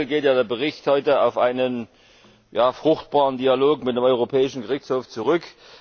Wenn man so will, geht ja der Bericht heute auf einen fruchtbaren Dialog mit dem Europäischen Gerichtshof zurück.